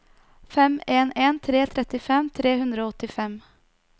fem en en tre trettifem tre hundre og åttifem